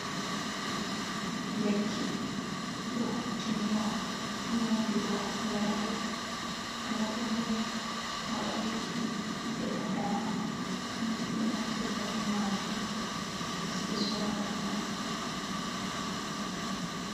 Lekki ɗum ɗo hutiniro ha nyaudugo nyauɓe, nyauɗo se moɗa lekki heɓa dama, kanjum ɓe naftirta ɓe majum, ha kemis be sorata ɗum.